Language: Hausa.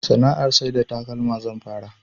Sana'ar sai da takalma zan fara